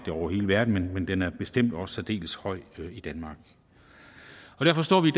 er over hele verden men den er bestemt også særdeles høj i danmark derfor står vi